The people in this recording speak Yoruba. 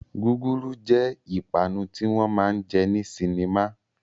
Gúgúrú jẹ́ ìpanu tí wọn máa jẹ ní sinimá